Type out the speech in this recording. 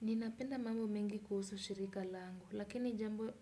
Ninapenda mambo mengi kuhusu shirika langu, lakini jambo